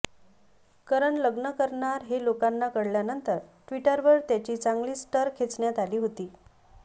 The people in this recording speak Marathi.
करण लग्न करणार हे लोकांना कळल्यानंतर ट्विटरवर त्याची चांगलीच टर खेचण्यात आली होती